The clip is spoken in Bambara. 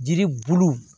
Jiri bulu